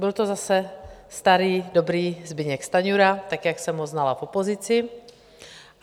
Byl to zase starý dobrý Zbyněk Stanjura tak, jak jsem ho znala v opozici.